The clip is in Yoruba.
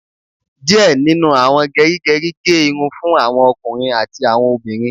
Díẹ̀ nínú àwọn gerigeri gé irun fún àwọn ọkùnrin àti àwọn obìnrin